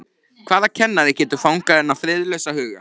Hvaða kennari getur fangað þennan friðlausa huga?